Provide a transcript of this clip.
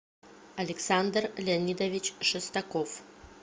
александр леонидович шестаков